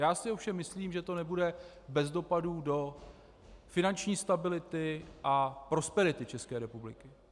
Já si ovšem myslím, že to nebude bez dopadů do finanční stability a prosperity České republiky.